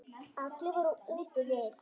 Allir voru úti við.